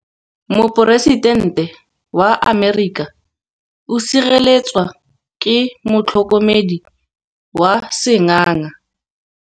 Poresitêntê wa Amerika o sireletswa ke motlhokomedi wa sengaga.